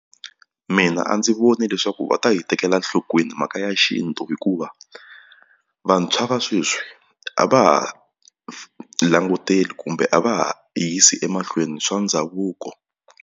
Mina a ndzi voni leswaku va ta yi tekela enhlokweni mhaka ya xintu hikuva vantshwa va sweswi a va ha languteli kumbe a va ha yisi emahlweni swa ndhavuko.